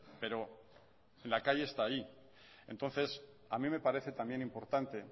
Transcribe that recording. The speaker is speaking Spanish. pero en la calle está ahí entonces a mí me parece también importante